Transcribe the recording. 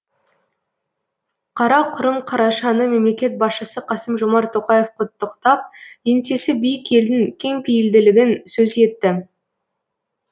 қарақұрым қарашаны мемлекет басшысы қасым жомарт тоқаев құттықтап еңсесі биік елдің кеңпейілділігін сөз етті